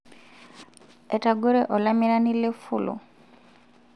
etagore olamirani le fulu